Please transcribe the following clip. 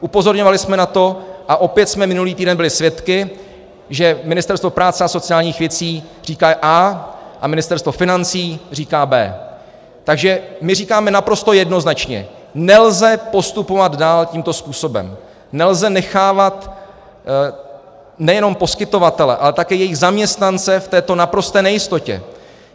Upozorňovali jsme na to a opět jsme minulý týden byli svědky, že Ministerstvo práce a sociálních věcí říká A a Ministerstvo financí říká B. Takže my říkáme naprosto jednoznačně - nelze postupovat dále tímto způsobem, nelze nechávat nejenom poskytovatele, ale také jejich zaměstnance v této naprosté nejistotě.